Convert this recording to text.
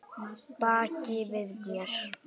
Baki við mér?